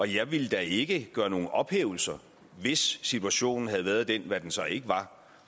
jeg ville da ikke gøre nogen ophævelser hvis situationen havde været den der hvad den så ikke var